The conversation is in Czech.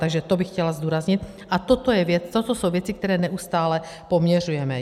Takže to bych chtěla zdůraznit, a toto jsou věci, které neustále poměřujeme.